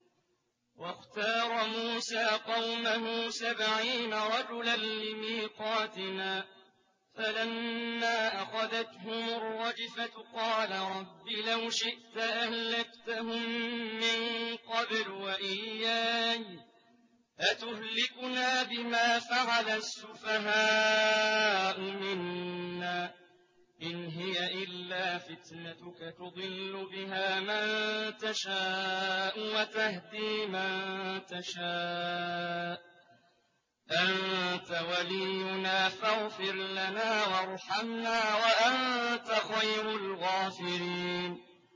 وَاخْتَارَ مُوسَىٰ قَوْمَهُ سَبْعِينَ رَجُلًا لِّمِيقَاتِنَا ۖ فَلَمَّا أَخَذَتْهُمُ الرَّجْفَةُ قَالَ رَبِّ لَوْ شِئْتَ أَهْلَكْتَهُم مِّن قَبْلُ وَإِيَّايَ ۖ أَتُهْلِكُنَا بِمَا فَعَلَ السُّفَهَاءُ مِنَّا ۖ إِنْ هِيَ إِلَّا فِتْنَتُكَ تُضِلُّ بِهَا مَن تَشَاءُ وَتَهْدِي مَن تَشَاءُ ۖ أَنتَ وَلِيُّنَا فَاغْفِرْ لَنَا وَارْحَمْنَا ۖ وَأَنتَ خَيْرُ الْغَافِرِينَ